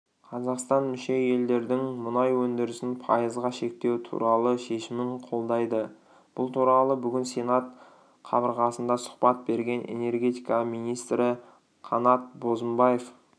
қазақстан мүше елдердің мұнай өндірісін пайызға шектеу туралы шешімін қолдайды бұл туралы бүгін сенат қабырғасында сұхбат берген энергетика министрі қанат бозымбаев